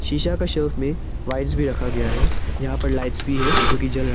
शीशा के शेल्फ में वॉइन भी रखा गया है यहां पर लाइट्स भी है जोकि जल रहा--